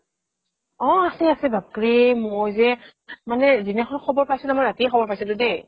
অ আছে আছে বাপৰে মই যে মানে যিদিনাখন খবৰ পাইছিলো ন ৰাতিয়ে খবৰ পাইছিলো দেই